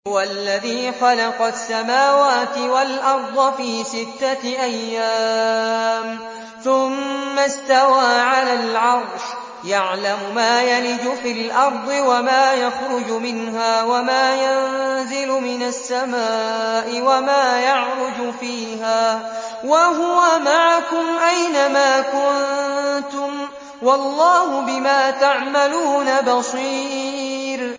هُوَ الَّذِي خَلَقَ السَّمَاوَاتِ وَالْأَرْضَ فِي سِتَّةِ أَيَّامٍ ثُمَّ اسْتَوَىٰ عَلَى الْعَرْشِ ۚ يَعْلَمُ مَا يَلِجُ فِي الْأَرْضِ وَمَا يَخْرُجُ مِنْهَا وَمَا يَنزِلُ مِنَ السَّمَاءِ وَمَا يَعْرُجُ فِيهَا ۖ وَهُوَ مَعَكُمْ أَيْنَ مَا كُنتُمْ ۚ وَاللَّهُ بِمَا تَعْمَلُونَ بَصِيرٌ